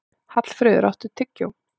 Hallfreður, áttu tyggjó?